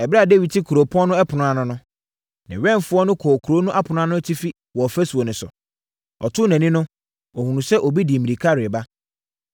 Ɛberɛ a Dawid te kuro no ɛpono ano no, ne wɛmfoɔ no kɔɔ kuro no ɛpono no atifi wɔ ɔfasuo no so. Ɔtoo nʼani no, ɔhunuu sɛ obi de mmirika reba.